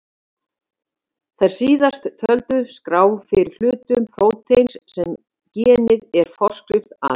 Þær síðast töldu skrá fyrir hlutum prótíns sem genið er forskrift að.